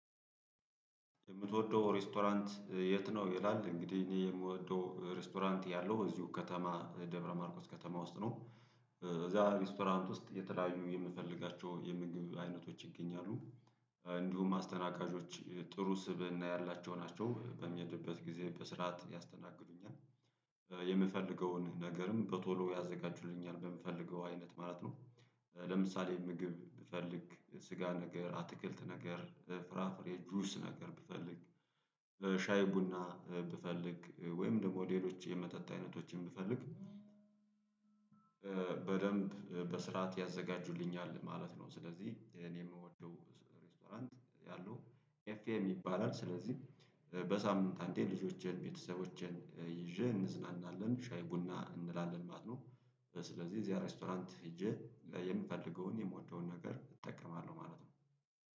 የምትወደው ሬስቶራንት የት? ነው ይላል እንግዲህ የምወደው ሬስቶራንት ያለው እዚሁ ከተማ ደብረማርቆስ ከተማ ውስጥ ነው። እዚያ ሬስቶራንት ውስጥ የተለያዩ የምፈልጋቸው የምግብ አይነቶች ይገኛሉ። እንዲሁም አስተናጋጆች ጥሩ ስብእና ያላቸው ናቸው በሚያሄድበት ጊዜ በስርዓት ያስተናግዱኛል። የምፈልገውን ነገርም በቶሎ ያዘጋጁልኛል በምፈልገው አይነት ማለት ነው። ለምሳሌ ምግብ ብፈልግ ስጋ ነገር አትክልት ነገር ፍራፍሬ ጁስ ነገር ብፈልግ ለሻይ ቡና ብፈልግ ወይም ደግሞ ሌሎች የመጠጥ አይነቶችን ብፈልግ። በደንብ በስርዓት ያዘጋጁልኛል ማለት ነው። ስለዚህ እኔ የምወደው ሬስቶራንት ያለው ኤፍኤም ይባላል። ስለዚህ በሳምንት አንዴ ልጆቼን ቤተሰቦችን ይዤ እንዝናናለን ሻይ ቡና እንላለን ማለት ነው። ስለዚህ እዚያ ሬስቶራንት ሄጄ የምፈልገውን የምወደውን ነገር እጠቀማለሁ ማለት ነው